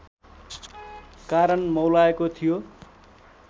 कारण मौलाएको थियो